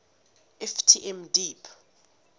ft m deep